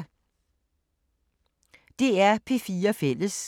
DR P4 Fælles